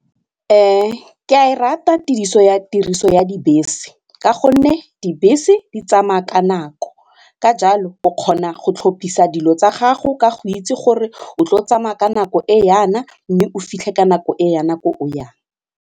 ke a e rata tiriso ya tiriso ya dibese ka gonne dibese di tsamaya ka nako, ka jalo o kgona go tlhophisa dilo tsa gago ka go itse gore o tlo tsamaya ka nako e yana mme o fitlhe ka nako e yana ko o yang.